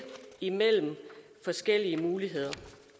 imellem forskellige muligheder